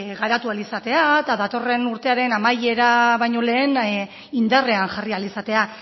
garatu ahal izatea eta datorren urtearen amaiera baino lehen indarrean jarri ahal izatea